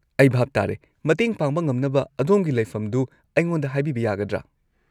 ꯑꯩ ꯚꯥꯞ ꯇꯥꯔꯦ; ꯃꯇꯦꯡ ꯄꯥꯡꯕ ꯉꯝꯅꯕ ꯑꯗꯣꯝꯒꯤ ꯂꯩꯐꯝꯗꯨ ꯑꯩꯉꯣꯟꯗ ꯍꯥꯏꯕꯤꯕ ꯌꯥꯒꯗ꯭ꯔꯥ?